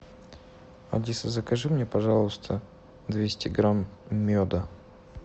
алиса закажи мне пожалуйста двести грамм меда